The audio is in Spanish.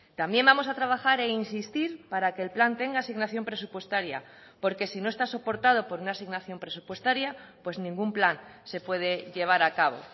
también vamos a trabajar e insistir para que el plan tenga asignación presupuestaria porque si no está soportado por una asignación presupuestaria pues ningún plan se puede llevar a cabo